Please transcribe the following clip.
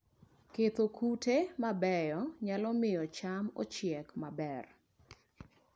Ketho kute mabeyo nyalo miyo cham ochiek maber